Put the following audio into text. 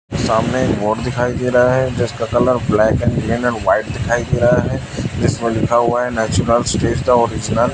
सामने एक बोर्ड दिखाई दे रहा है जिसका colour black and green and white दिखाई दे रहा है जिसमें लिखा हुआ है नेचुरल स्टेज द ओरिजिनल --